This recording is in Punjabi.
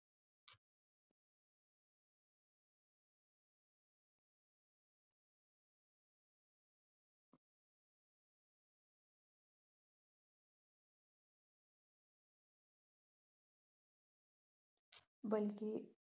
ਬਲਕਿ